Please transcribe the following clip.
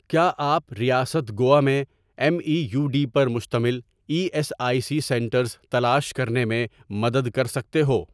کیا آپ ریاست گوا میں ایم ای یو ڈی پر مشتمل E S I C centres تلاش کرنے میں مدد کر سکتے ہو؟